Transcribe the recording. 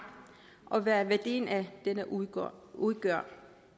og hvad værdien af den udgør udgør